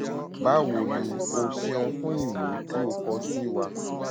báwo ni o o ṣeun fún ìwé tí o kọ sí wa